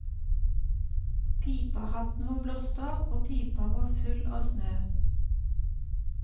Pipehatten var blåst av, og pipa var full av snø.